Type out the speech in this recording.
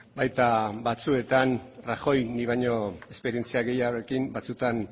baita batzuetan rajoy nik baino esperientzia gehiagorekin batzuetan